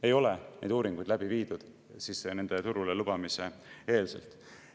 Ei ole neid uuringuid läbi viidud nende turule lubamise eelselt.